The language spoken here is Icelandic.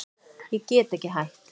Ég get ekki hætt.